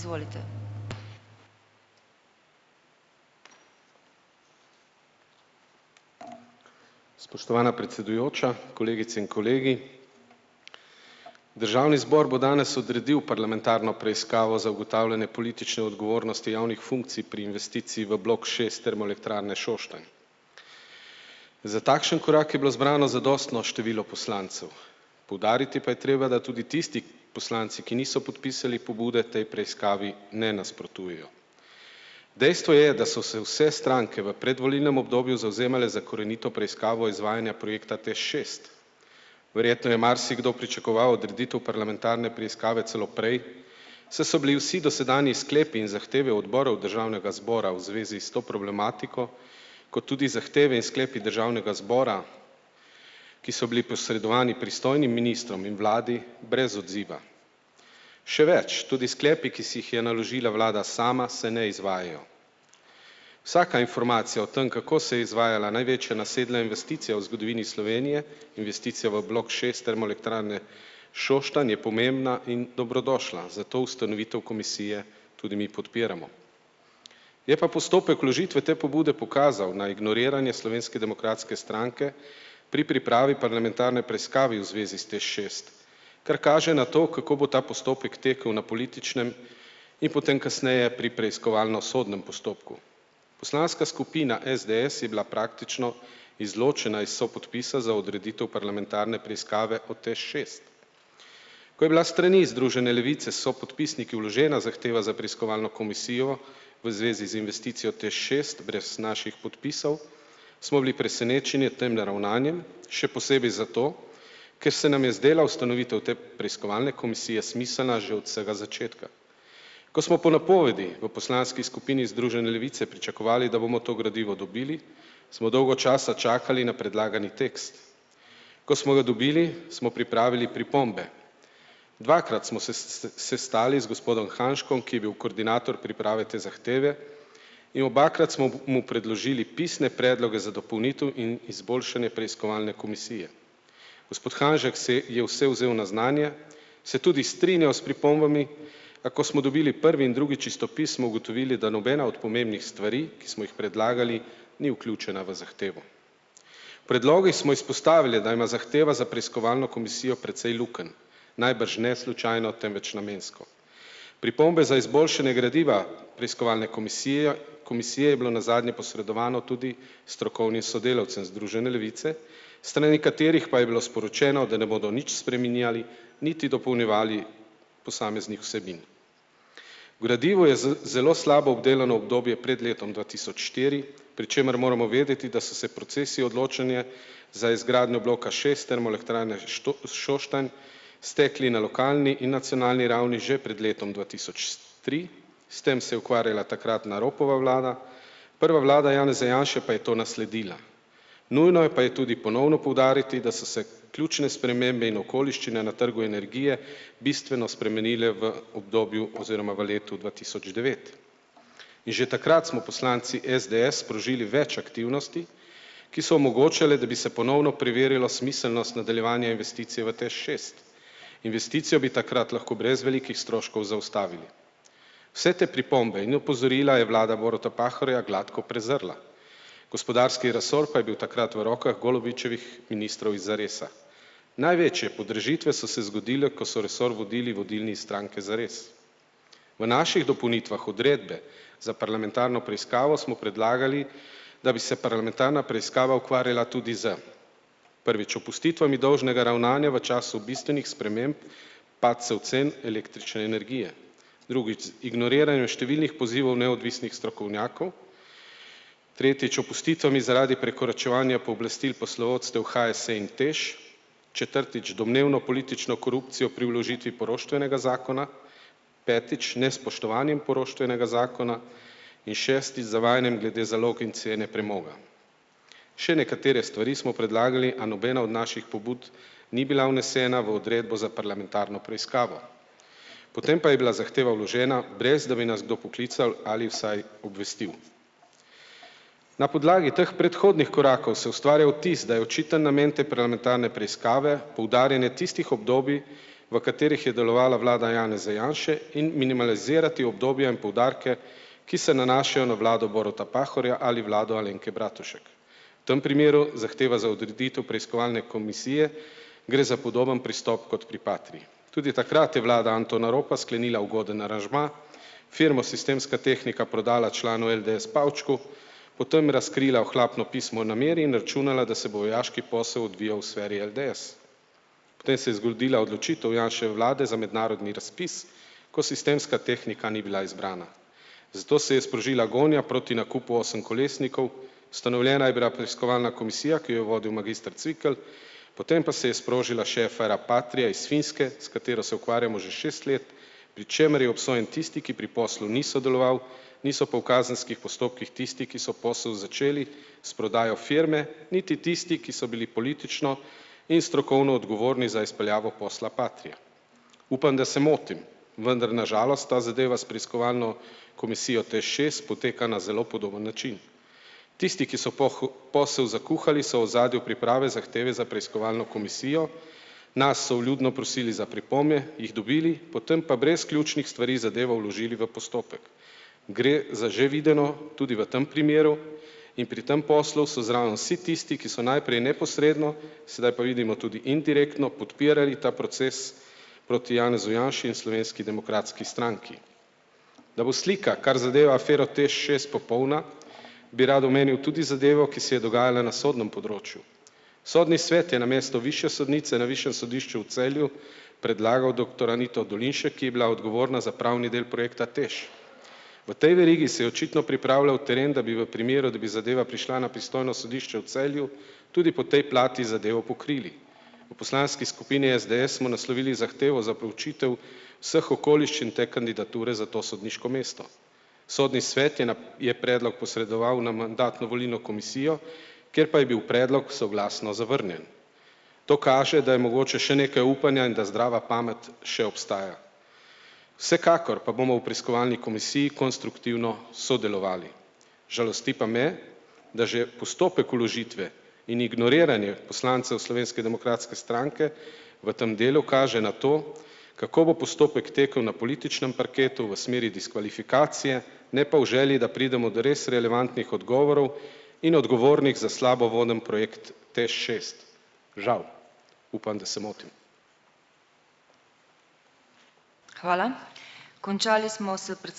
Spoštovana predsedujoča kolegice in kolegi! Državni zbor bo danes odredil parlamentarno preiskavo za ugotavljanje politične odgovornosti javnih funkcij pri investiciji v blok šest Termoelektrarne Šoštanj. Za takšen korak je bilo zbrano zadostno število poslancev, poudariti pa je treba, da tudi tisti poslanci, ki niso podpisali pobude, tej preiskavi ne nasprotujejo. Dejstvo je, da so se vse stranke v predvolilnem obdobju zavzemale za korenito preiskavo izvajanja projekta TEŠ šest. Verjetno je marsikdo pričakoval odreditev parlamentarne preiskave celo prej, saj so bili vsi dosedanji sklepi in zahteve odborov državnega zbora v zvezi s to problematiko kot tudi zahteve in sklepi državnega zbora, ki so bili posredovani pristojnim ministrom in vladi, brez odziva. Še več, tudi sklepi, ki si jih je naložila vlada sama, se ne izvajajo. Vsaka informacija o tem, kako se je izvajala največja nasedla investicija v zgodovini Slovenije, investicija v blok šest Termoelektrarne Šoštanj je pomembna in dobrodošla, zato ustanovitev komisije tudi mi podpiramo. Je pa postopek vložitve te pobude pokazal na ignoriranje Slovenske demokratske stranke pri pripravi parlamentarne preiskave v zvezi s TEŠ šest, kar kaže na to, kako bo ta postopek tekel na političnem in potem kasneje pri preiskovalno-sodnem postopku. Poslanska skupina SDS je bila praktično izločena iz sopodpisa za odreditev parlamentarne preiskave o TEŠ šest. Ko je bila strani iz Združene levice sopodpisnik je vložena zahteva za preiskovalno komisijo v zvezi z investicijo TEŠ šest brez naših podpisov, smo bili presenečeni nad temle ravnanjem, še posebej zato, ker se nam je zdela ustanovitev te preiskovalne komisije smiselna že od vsega začetka. Ko smo po napovedi v poslanski skupini Združene levice pričakovali, da bomo to gradivo dobili, smo dolgo časa čakali na predlagani tekst. Ko smo ga dobili, smo pripravili pripombe. Dvakrat smo se sestali z gospodom Hanžkom, ki je bil koordinator priprave te zahteve, in obakrat smo mu mu predložili pisne predloge za dopolnitev in izboljšanje preiskovalne komisije. Gospod Hanžek se je vse vzel na znanje, se tudi strinjal s pripombami, a ko smo dobili prvi in drugi čistopis, smo ugotovili, da nobena od pomembnih stvari, ki smo jih predlagali, ni vključena v zahtevo. Predloge smo izpostavili, da ima zahteva za preiskovalno komisijo precej lukenj. Najbrž ne slučajno, temveč namensko. Pripombe za izboljšanje gradiva preiskovalne komisije, komisije je bilo nazadnje posredovano tudi strokovnim sodelavcem Združene levice, s strani katerih pa je bilo sporočeno, da ne bodo nič spreminjali niti dopolnjevali posameznih vsebin. Gradivo je zelo slabo obdelano, obdobje pred letom dva tisoč štiri, pri čemer moramo vedeti, da so se procesi odločanja za izgradnjo bloka šest Termoelektrarne Šoštanj stekli na lokalni in nacionalni ravni že pred letom dva tri, s tem se je ukvarjala takratna Ropova vlada, prva vlada Janeza Janše pa je to nasledila. Nujno je pa je tudi ponovno poudariti, da so se ključne spremembe in okoliščine na trgu energije bistveno spremenile v obdobju oziroma v letu dva tisoč devet. In že takrat smo poslanci SDS sprožili več aktivnosti, ki so omogočale, da bi se ponovno preverjalo smiselnost nadaljevanja investicije v TEŠ šest. Investicijo bi takrat lahko brez velikih stroškov zaustavili. Vse te pripombe in opozorila je vlada Boruta Pahorja gladko prezrla, gospodarski resor pa je bil takrat v rokah Golobičevih ministrov iz Zaresa. Največje podražitve so se zgodile, ko so resor vodili vodilni iz stranke Zares. V naših dopolnitvah odredbe za parlamentarno preiskavo smo predlagali, da bi se parlamentarna preiskava ukvarjala tudi s, prvič, opustitvami dolžnega ravnanja v času bistvenih sprememb padcev cen električne energije, drugič, ignoriranje številnih pozivov neodvisnih strokovnjakov, tretjič, opustitvami zaradi prekoračevanja pooblastil poslovodstev HSE in TEŠ, četrtič, domnevno politično korupcijo pri vložitvi poroštvenega zakona, petič, nespoštovanje in poroštvenega zakona in, šestič, zavajanje glede zalog in cene premoga. Še nekatere stvari smo predlagali, a nobena od naših pobud ni bila vnesena v odredbo za parlamentarno preiskavo. Potem pa je bila zahteva vložena, brez da bi nas kdo poklical ali vsaj obvestil. Na podlagi teh predhodnih korakov se ustvarja vtis, da je očiten namen te parlamentarne preiskave poudarjanje tistih obdobij, v katerih je delovala vlada Janeza Janše, in minimalizirati obdobja in poudarke, ki se nanašajo na vlado Boruta Pahorja ali vlado Alenke Bratušek. Tem primeru zahteva za odreditev preiskovalne komisije, gre za podoben pristop kot pri Patrii. Tudi takrat je vlada Antona Ropa sklenila ugoden aranžma, firmo Sistemska tehnika prodala članu LDS Pavčku, potem razkrila ohlapno pismo nameri in računala, da se bo vojaški posel odvijal v sferi LDS. Potem se je zgodila odločitev Janševe vlade za mednarodni razpis, ko Sistemska tehnika ni bila izbrana. Zato se je sprožila gonja proti nakupu osemkolesnikov, ustanovljena je bila preiskovalna komisija, ki jo je vodil magister Cvikl, potem pa se je sprožila še afera Patria iz Finske, s katero se ukvarjamo že šest let, pri čemer je obsojen tisti, ki pri poslu ni sodeloval, niso pa v kazenskih postopkih tisti, ki so posel začeli s prodajo firme, niti tisti, ki so bili politično in strokovno odgovorni za izpeljavo posla Patria. Upam, da se motim. Vendar na žalost ta zadeva s preiskovalno komisijo TEŠ šest poteka na zelo podoben način. Tisti, ki so posel zakuhali, so v ozadju priprave zahteve za preiskovalno komisijo, nas so vljudno prosili za pripombe, jih dobili, potem pa brez ključnih stvari zadevo vložili v postopek. Gre za že videno, tudi v tem primeru, in pri tem poslu so zraven vsi tisti, ki so najprej neposredno, sedaj pa vidimo tudi indirektno podpirali ta proces proti Janezu Janši in Slovenski demokratski stranki. Da bo slika, kar zadeva afero TEŠ šest popolna, bi rad omenil tudi zadevo, ki se je dogajala na sodnem področju. Sodni svet je namesto višje sodnice na višjem sodišču v Celju predlagal doktor Anito Dolinšek, ki je bila odgovorna za pravni del projekta TEŠ. V tej verigi se je očitno pripravljal teren, da bi v primeru, da bi zadeva prišla na pristojno sodišče v Celju, tudi po tej plati zadevo pokrili. V poslanski skupini SDS smo naslovili zahtevo za preučitev vseh okoliščin te kandidature za to sodniško mesto. Sodni svet je je predlog posredoval na mandatno-volilno komisijo, kjer pa je bil predlog soglasno zavrnjen. To kaže, da je mogoče še nekaj upanja in za zdrava pamet še obstaja. Vsekakor pa bomo v preiskovalni komisiji konstruktivno sodelovali. Žalosti pa me, da že postopek vložitve in ignoriranja poslancev Slovenske demokratske stranke v tem delu kaže na to, kako bo postopek tekel na političnem parketu v smeri diskvalifikacije, ne pa v želji, da pridemo do res relevantnih odgovorov in odgovornih za slabo voden projekt TEŠ šest. Žal. Upam, da se motim.